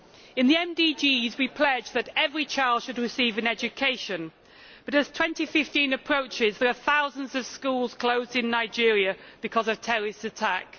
In the MDGs we pledged that every child should receive an education but as 2015 approaches there are thousands of schools closed in Nigeria because of terrorist attacks.